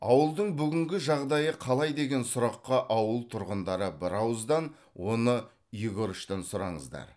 ауылдың бүгінгі жағдайы қалай деген сұраққа ауыл тұрғындары бірауыздан оны егорычтан сұраңыздар